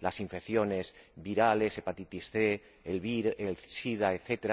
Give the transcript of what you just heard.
las infecciones virales, la hepatitis C, el sida, etc.